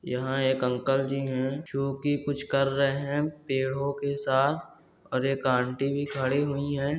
यहाँ एक अंकल जी है जो की कुछ कर रहे है पेड़ो के साथ और एक आंटी भी खड़ी हुई है।